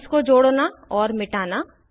bonds को जोड़ना और मिटाना